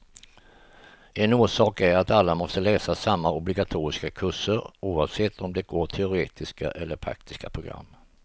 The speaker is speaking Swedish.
En orsak är att alla måste läsa samma obligatoriska kurser, oavsett om de går teoretiska eller praktiska program.